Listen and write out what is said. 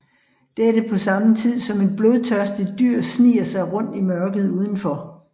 Dette på samme tid som et blodtørstigt dyr sniger sig rundt i mørket udenfor